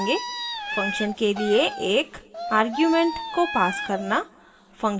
function के लिए एक आर्ग्युमेंट को पास करना